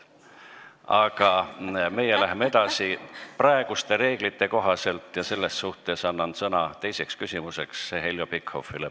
Aga meie läheme edasi praeguste reeglite kohaselt ja annan teiseks küsimuseks sõna Heljo Pikhofile.